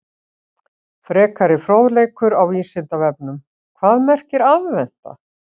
Frekari fróðleikur á Vísindavefnum: Hvað merkir aðventa?